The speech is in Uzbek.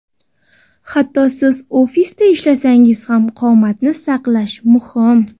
Hatto siz ofisda ishlasangiz ham, qomatni saqlash muhim.